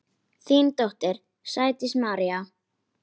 Þín dóttir, Sædís María.